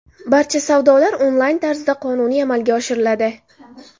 Barcha savdolar onlayn tarzda qonuniy amalga oshiriladi.